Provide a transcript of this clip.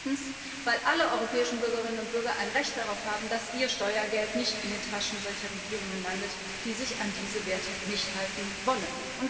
Viertens weil alle europäischen Bürgerinnen und Bürger ein Recht darauf haben, dass ihr Steuergeld nicht in den Taschen solcher Regierungen landet, die sich an diese Werte nicht halten wollen.